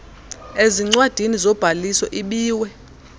ezincwadini zobhaliso ibiwe